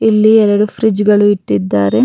ಇಲ್ಲಿ ಎರಡು ಫ್ರಿಡ್ಜ್ ಗಳು ಇಟ್ಟಿದಾರೆ.